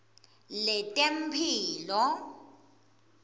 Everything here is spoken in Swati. letemphilo